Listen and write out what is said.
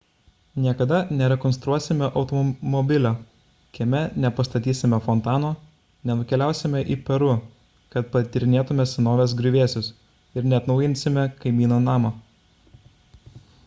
niekada nerekonstruosime automobilio kieme nepastatysime fontano nenukeliausime į peru kad patyrinėtume senovės griuvėsius ir neatnaujinsime kaimyno namo